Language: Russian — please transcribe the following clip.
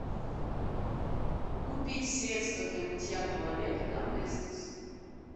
купить средство для мытья туалета доместос